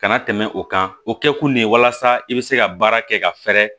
Kana tɛmɛ o kan o kɛkun de ye walasa i bɛ se ka baara kɛ ka fɛɛrɛ